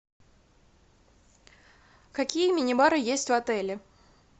какие мини бары есть в отеле